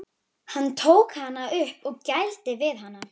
Hann tók hana upp og gældi við hana.